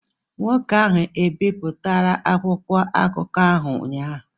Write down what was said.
Nwoke ahụ ebipụtara akwụkwọ akụkọ ahụ ụnyahụ?